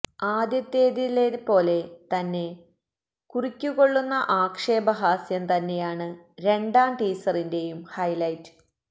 ആദ്യത്തെതിലെപ്പോലെ തന്നെ കുറിക്കുകൊള്ളുന്ന ആക്ഷേപ ഹാസ്യം തന്നെയാണ് രണ്ടാം ടീസറിന്റെയും ഹൈലൈറ്റ്